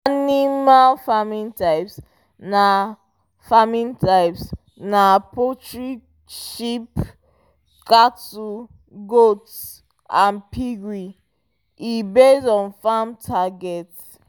animal farming types na farming types na poultry sheep cattle goats and piggery e base on farm target